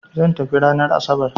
Zan tafi ranan asabar